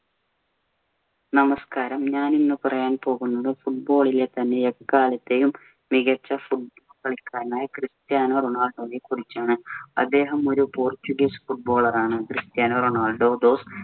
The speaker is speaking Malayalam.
നമസ്കാരം, ഞാനിന്നു പറയാന്‍ പോകുന്നത് football ഇലെ തന്നെ എക്കാലത്തെയും മികച്ച foot ~ കളിക്കാരനായ ക്രിസ്റ്റ്യാനോ റൊണാൾഡോയെ കുറിച്ചാണ്. അദ്ദേഹം ഒരു പോർച്ചുഗീസ് footballer ആണ്. Cristiano Ronaldo those